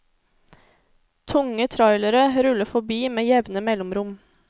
Tunge trailere ruller forbi med jevne mellomrom.